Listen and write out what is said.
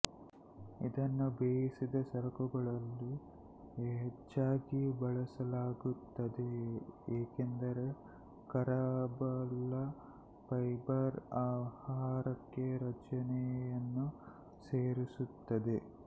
ಇದನ್ನು ಬೇಯಿಸಿದ ಸರಕುಗಳಲ್ಲಿ ಹೆಚ್ಚಾಗಿ ಬಳಸಲಾಗುತ್ತದೆ ಏಕೆಂದರೆ ಕರಗಬಲ್ಲ ಫೈಬರ್ ಆಹಾರಕ್ಕೆ ರಚನೆಯನ್ನು ಸೇರಿಸುತ್ತದೆ